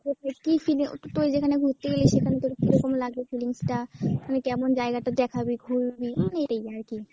মানে কী seen এ ওটা তুই যেখানে ঘুরতে গেলি সেখানে তোর কীরকম লাগলো feelings টা, ওখানে কেমন জাইগাটা দেখাবি, ঘুরবি এই আরকী।